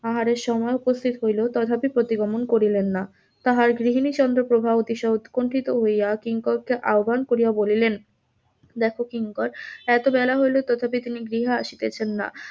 আহারের সময় উপস্থিত হইলেও তাহারহাতে প্রতি গমন করিলেন না, তাহার গৃহিনী চন্দ্র প্রভা অতি উৎকুন্ঠিত হইয়া কিঙ্করকে আহবান করিয়া বলিলেন দেখো কিঙ্কর এত বেলা হইল তবুও তিনি গৃহে আসিতেছেন না,